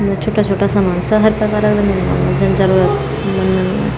छुट्टा छुट्टा सामान सब हर प्रकार का रंदिन मन जन जरूरत मंदन।